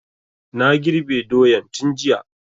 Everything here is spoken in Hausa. Na girbe doyan tun jiya